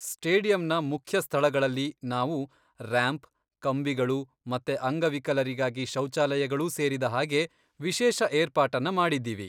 ಸ್ಟೇಡಿಯಂನ ಮುಖ್ಯ ಸ್ಥಳಗಳಲ್ಲಿ ನಾವು ರ್ಯಾಂಪ್, ಕಂಬಿಗಳು ಮತ್ತೆ ಅಂಗವಿಕಲರಿಗಾಗಿ ಶೌಚಾಲಯಗಳೂ ಸೇರಿದ ಹಾಗೆ ವಿಶೇಷ ಏರ್ಪಾಟನ್ನ ಮಾಡಿದ್ದೀವಿ.